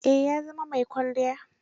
Eh, ya zama mai kwalliya.